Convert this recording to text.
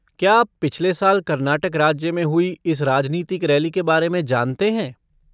क्या आप पिछले साल कर्नाटक राज्य में हुई इस राजनीतिक रैली के बारे में जानते हैं?